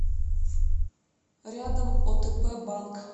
рядом отп банк